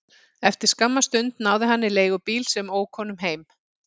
Eftir skamma stund náði hann í leigubíl sem ók honum heim.